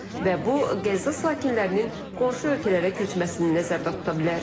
Və bu Qəzza sakinlərinin qonşu ölkələrə köçməsini nəzərdə tuta bilər.